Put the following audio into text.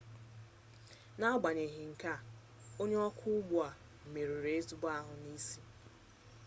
n'agbanyeghị nke a onye ọkwọ ụgbọ merụrụ ezigbo ahụ n'isi